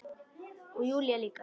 Og Júlía líka.